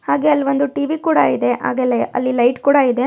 ಹಾಗೆ ಅಲ್ಲಿ ಒಂದು ಟಿ_ವಿ ಕೂಡ ಇದೆ ಹಾಗೆ ಲೆ- ಅಲ್ಲಿಲೈಟ್ ಕೂಡ ಇದೆ.